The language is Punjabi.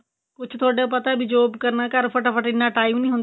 ਕੁੱਝ ਤੁਹਾਡਾ ਪਤਾ job ਕਰਨਾ ਘਰ ਫਟਾ ਫੱਟ ਇੰਨਾ time ਨੀ ਹੁੰਦਾ